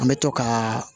An bɛ to ka